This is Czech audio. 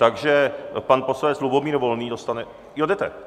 Takže pan poslanec Lubomír Volný dostane... jo, jdete.